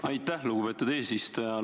Aitäh, lugupeetud eesistuja!